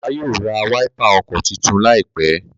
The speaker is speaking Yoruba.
bàbá yíò rá Wáípà ọkọ títún laipe.